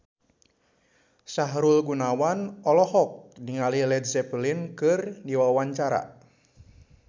Sahrul Gunawan olohok ningali Led Zeppelin keur diwawancara